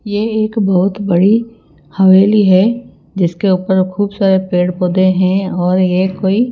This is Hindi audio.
ये एक बहुत बड़ी हवेली है जिसके ऊपर खूब सारे पेड़-पौधे हैं और ये कोई---